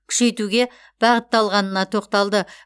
күшейтуге бағытталғанына тоқталды